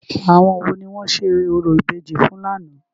Àwọn wo ni wọ́n ṣe orò ìbejì fún lánàá?